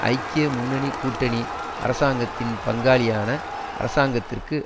ஐக்கிய முன்னணி கூட்டணி அரசாங்கத்தின் பங்காளியான அரசாங்கத்திற்கு